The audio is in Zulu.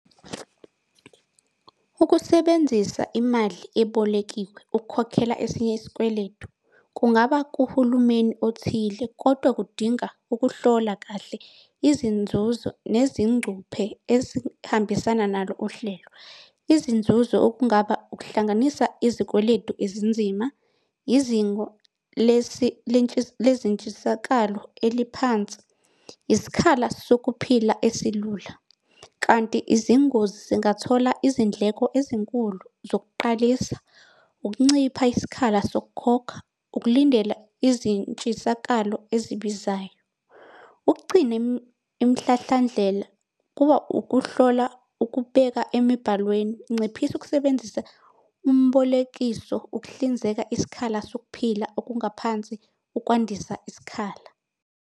Ukusebenzisa imali ebolekiwe ukukhokhela esinye isikweletu kungaba kuhulumeni othile, kodwa kudinga ukuhlola kahle izinzuzo nezingcuphe ezihambisana nalo uhlelo. Izinzuzo okungaba ukuhlanganisa izikweletu ezinzima, izingo lezintshisakalo eliphansi, isikhala sokuphila esilula. Kanti izingozi zingathola izindleko ezinkulu zokuqalisa, ukuncipha isikhala sokukhokha, ukulindela izintshisakalo ezibizayo. Ukuqcina imihlahlandlela kuba ukuhlola ukubeka emibhalweni. Nciphisa ukusebenzisa umbolekiso ukuhlinzeka isikhala sokuphila okungaphansi ukwandisa isikhala.